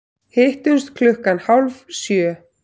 Hittumst klukkan hálf sjö.